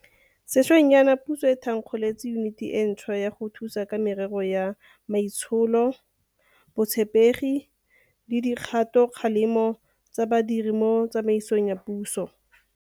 Sešweng jaana puso e tha nkgolotse Yuniti e ntšhwa ya go Thusa ka Merero ya Maitsholo, Botshepegi le Di kgatokgalemo tsa Badiri mo Tsamaisong ya Puso.